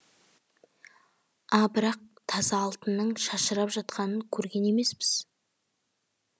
а бірақ таза алтынның шашырап жатқанын көрген емеспіз